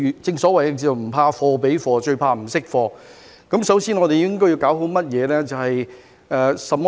正所謂"不怕貨比貨，最怕不識貨"，我們首先應該要搞好甚麼呢？